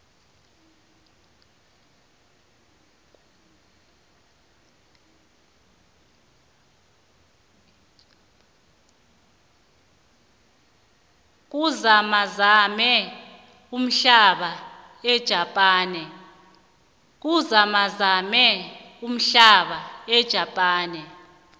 kuzamazame umhlaba ejapane